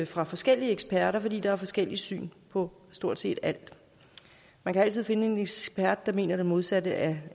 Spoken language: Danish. fra forskellige eksperter fordi der er forskellige syn på stort set alt man kan altid finde en ekspert der mener det modsatte af